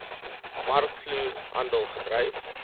markvloer handel gedryf